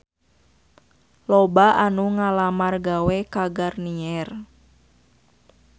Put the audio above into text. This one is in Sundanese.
Loba anu ngalamar gawe ka Garnier